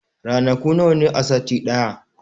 Ranaku nawa ne a sati ɗaya?